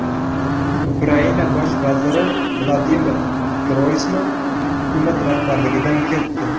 Ukraina bosh vaziri Vladimir Groysman hukumat rahbarligidan ketdi.